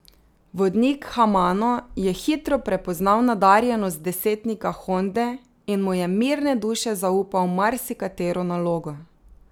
Vodnik Hamano je hitro prepoznal nadarjenost desetnika Honde in mu je mirne duše zaupal marsikatero nalogo.